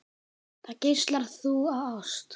Þar geislar þú af ást.